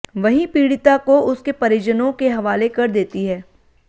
वहीं पीड़िता को उसके परिजनों के हवाले कर देती है